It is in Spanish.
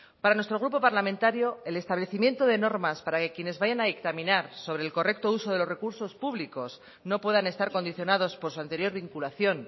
para nuestro grupo parlamentario el establecimiento de normas para que quienes vayan a dictaminar sobre el correcto uso de los recursos públicos no puedan estar condicionados por su anterior vinculación